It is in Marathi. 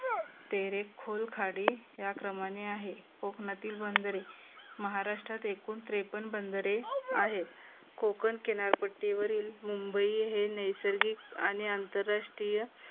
तेरे खुलं खाडी या क्रमाने आहे. कोकणातील बंधरे महाराष्ट्रात एकूण त्रेपन्न बंधरे आहेत. कोकण किनारपट्टीवरील मुंबई हे नैसर्गिक आणि आंतरराष्ट्रीय